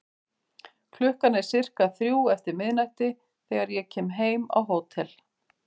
Klukkan er sirka þrjú eftir miðnætti þegar ég kem heim á hótel.